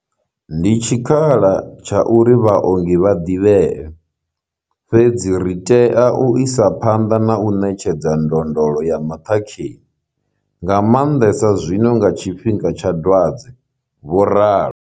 Ndi tshikhala tsha uri vhaongi vha ḓivhee, fhedzi ri tea u isa phanḓa na u ṋetshedza ndondolo ya maṱhakheni, nga maanḓesa zwino nga tshi fhinga tsha dwadze, vho ralo.